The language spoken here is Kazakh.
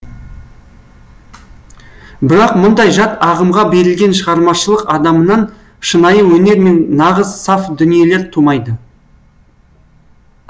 бірақ мұндай жат ағымға берілген шығармашылық адамынан шынайы өнер мен нағыз саф дүниелер тумайды